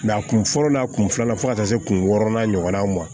a kun fɔlɔ la a kun filanan fo ka taa se kun wɔɔrɔnan ɲɔgɔnnaw ma